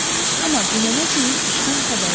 Amma dünənə kimi işdən xəbəri yox idi.